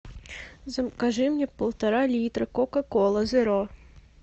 закажи мне полтора литра кока колы зеро